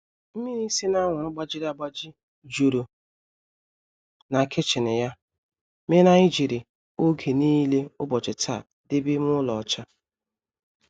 Mmịrị sị na anwụrụ gbajịrị agbajị juru na kichin ya mere anyị jiri oge nile ubochi taa debe ime ụlọ ọcha